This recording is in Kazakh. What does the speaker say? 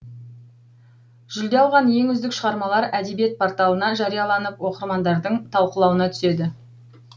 жүлде алған ең үздік шығармалар әдебиет порталына жарияланып оқырмандардың талқылауына түседі